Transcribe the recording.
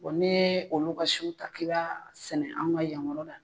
Bɔn ne yee olu ka siw ta k'i b'a sɛnɛ an ka yankɔrɔ la